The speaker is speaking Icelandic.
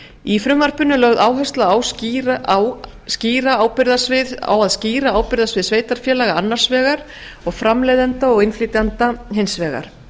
í frumvarpinu er lögð áhersla á að skýra ábyrgðarsvið sveitarfélaga annars vegar og framleiðenda og innflytjenda hins vegar